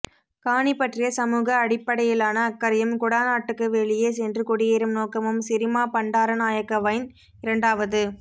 காணி பற்றிய சமூக அடிப்படையிலான அக்கறையும் குடாநாட்டுக்கு வெளியே சென்று குடியேறும் நோக்கமும் சிரிமா பண்டாரநாயக்கவின் இரண்டாவது